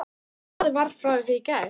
Blaðið var frá því í gær.